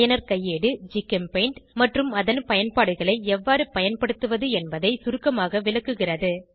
பயனர் கையேடு ஜிகெம்பெயிண்ட் மற்றும் அதன் பயன்பாடுகளை எவ்வாறு பயன்படுத்துவது என்பதை சுருக்கமாக விளக்குகிறது